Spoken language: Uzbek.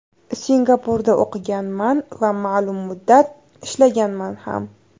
Singapurda o‘qiganman va ma’lum muddat ishlaganman ham.